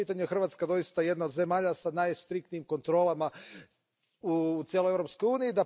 Po tom pitanju je Hrvatska doista jedna od zemalja s najstriktnijim kontrolama u cijeloj Europskoj uniji.